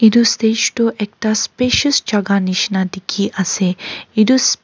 etu stage toh ekta spacious jaga nishina dikhi ase etu s--